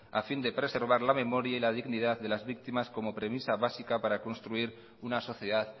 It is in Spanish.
a fin de preservar la memoria y la dignidad de las víctimas como premisa básica para construir una sociedad